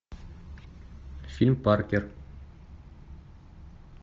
фильм паркер